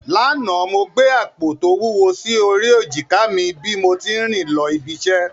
Lánàá, mo gbé àpò tó wúwo sí orí èjìká mi bí mo tí ń rìn lọ ibi iṣẹ́